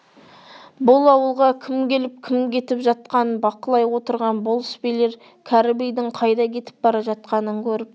бұл ауылға кім келіп кім кетіп жатқанын бақылай отырған болыс билер кәрі бидің қайда кетіп бара жатқанын көріп